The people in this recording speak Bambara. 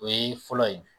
O ye fɔlɔ ye